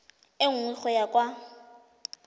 e nngwe go ya kwa